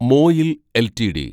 MOIL LTD